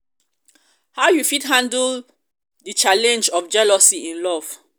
how you fit handle di handle di challenge of jealousy in love?